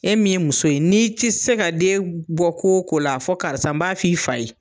E min ye muso ye n'i ti se ka den bɔ ko o ko la, a fɔ karisa n b'a f'i fa ye.